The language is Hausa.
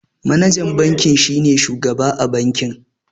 Manajan banki shine shugaba a banki.